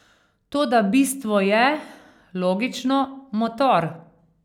Toda bistvo je, logično, motor.